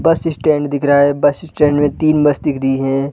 बस स्टैंड दिख रहा है बस स्टैंड में तीन बस दिख रही है।